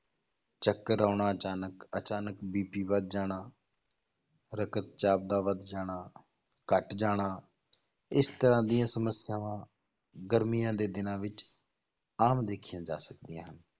ਚੱਕਰ ਆਉਣਾ ਅਚਾਨਕ ਅਚਾਨਕ BP ਵੱਧ ਜਾਣਾ ਰਕਤ ਚਾਪ ਦਾ ਵੱਧ ਜਾਣਾ, ਘੱਟ ਜਾਣਾ, ਇਸ ਤਰ੍ਹਾਂ ਦੀਆਂ ਸਮੱਸਿਆਵਾਂ ਗਰਮੀਆਂ ਦੇ ਦਿਨਾਂ ਵਿੱਚ ਆਮ ਦੇਖੀਆਂ ਜਾ ਸਕਦੀਆਂ ਹਨ,